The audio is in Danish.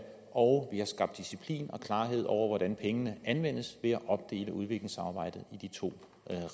og vi har skabt disciplin og klarhed over hvordan pengene anvendes ved at opdele udviklingssamarbejdet i de to